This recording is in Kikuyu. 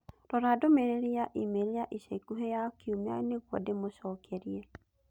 Rora ndũmĩrĩri ya e-mail ya ica ikuhĩ ya kiumia nĩguo ndĩmĩcokerie.